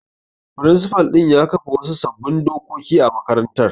Firinsifal ɗin ya kafa wasu sabbin dokoki a makarantar.